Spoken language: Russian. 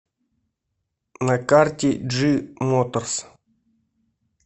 на карте джи моторс